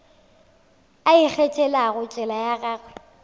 a ikgethelago tsela ya gagwe